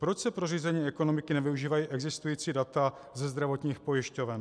Proč se pro řízení ekonomiky nevyužívají existující data ze zdravotních pojišťoven?